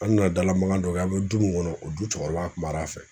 An nana dala magan dɔ kɛ an be du mun kɔnɔ o du cɛkɔrɔba kumar'a fɛ.